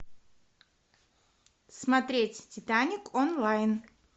смотреть титаник онлайн